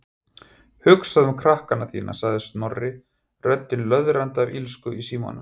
Hugsaðu um krakkana þína- sagði Snorri, röddin löðrandi af illsku í símanum.